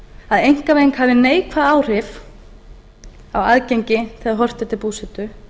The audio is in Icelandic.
að einkavæðing hafi neikvæð áhrif á aðgengi þegar horft er til búsetu